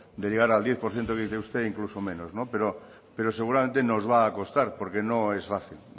de llegar al diez por ciento que dice usted incluso menos pero seguramente nos va a costar porque no es fácil